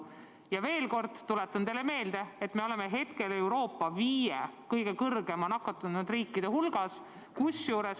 Ma veel kord tuletan teile meelde, et me oleme hetkel Euroopa viie kõige kõrgema nakatumisnäitajaga riigi hulgas.